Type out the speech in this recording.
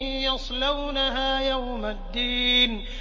يَصْلَوْنَهَا يَوْمَ الدِّينِ